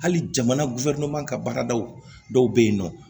Hali jamana ka baaradaw dɔw bɛ yen nɔ